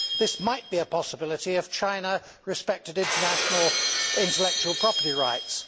This might be a possibility if China respected international intellectual property rights.